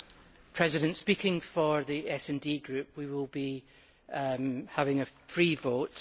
Mr President, speaking for the SD Group, we will be having a free vote.